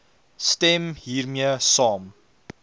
stem hiermee saam